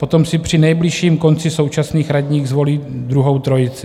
Potom si při nejbližším konci současných radních zvolí druhou trojici.